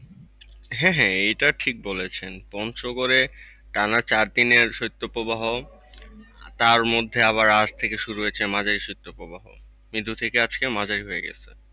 হ্যাঁ হ্যাঁ এটা ঠিক বলেছেন পঞ্চগড়ে টানা চারদিনের শৈত্যপ্রবাহ। তার মধ্যে আবার আজ থেকে শুরু হয়েছে মাঝারি শৈত্যপ্রবাহ, মৃদু থেকে মাঝারি হয়ে গেছে।